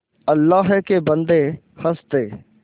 अल्लाह के बन्दे हंस दे